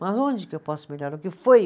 Mas onde que eu posso melhorar, o que foi?